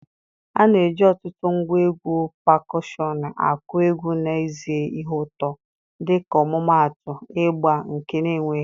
A na-eji ọtụtụ ngwa egwu pakushọnụ akụ egwu n'ezie ihe ụtọ, dịka ọmụmaatụ, ịgbà, nke na-enweghị.